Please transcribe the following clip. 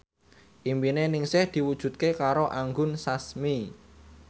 impine Ningsih diwujudke karo Anggun Sasmi